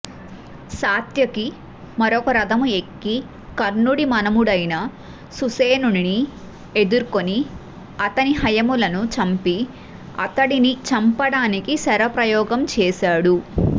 సాత్యకి మరొక రధము ఎక్కి కర్ణుడి మనుమడైన సుషేణుని ఎదుర్కొని అతడి హయములను చంపి అతడిని చంపడానికి శరప్రయోగం చేసాడు